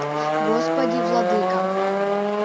господи владыка